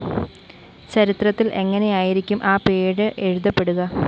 ചരിത്രത്തില്‍ എങ്ങനെയായിരിക്കും ആ പേര് എഴുതപ്പെടുക